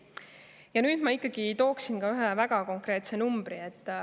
Ja nüüd ma ikkagi tooksin ka ühe väga konkreetse numbri.